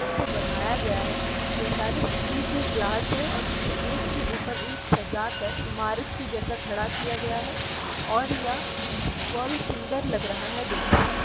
जब से बनाया गया है यह सारे स्टील के ग्लास हैं और इन्हें एक के ऊपर एक सजा कर इमारत के जैसा खड़ा किया गया है और यह बड़ी सुंदर लग रहा है देखने में।